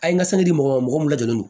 A ye n ka sanni di mɔgɔ min la donnen no